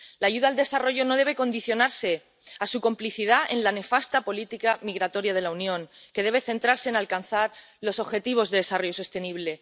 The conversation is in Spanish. La ayuda al desarrollo no debe condicionarse a su complicidad en la nefasta política migratoria de la Unión, que debe centrarse en alcanzar los objetivos de desarrollo sostenible.